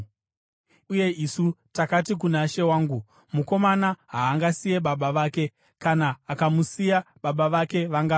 Uye isu takati kuna she wangu, ‘Mukomana haangasiye baba vake; kana akavasiya, baba vake vangafa.’